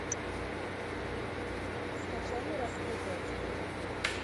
скачай нераскрытое дело